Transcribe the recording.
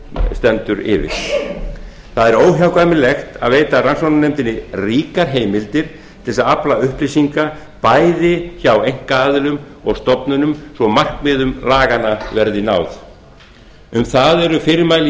stendur yfir það er óhjákvæmilegt að veita rannsóknarnefndinni ríkar heimildir til að afla upplýsinga bæði hjá einkaaðilum og stofnunum svo að markmiðum laganna verði náð um það eru fyrirmæli í